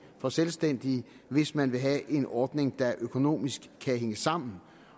for selvstændige hvis man vil have en ordning der økonomisk kan hænge sammen